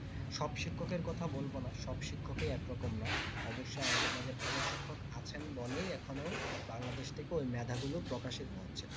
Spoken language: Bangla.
সব শিক্ষক এর কথা বলবোনা সব শিক্ষক একরকম না অবশ্যই আমাদের মাঝে ভালো শিক্ষক আছেন বলে এখনও বাংলাদেশটিকে ওই মেধা গুলি প্রকাশিত হচ্ছে